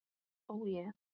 Ó je.